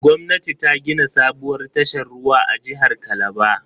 Gwamnati ta gina sabuwar tashar ruwa a jihar Calabar.